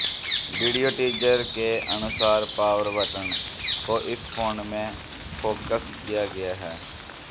video teaser के अनुसार power button को इस फोन मे फोकस किया गया है